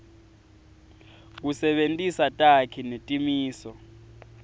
kusebentisa takhi netimiso